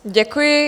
Děkuji.